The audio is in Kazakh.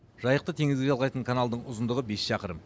жайықты теңізге жалғайтын каналдың ұзындығы бес шақырым